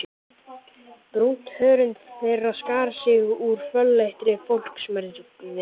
Brúnt hörund þeirra skar sig úr fölleitri fólksmergðinni.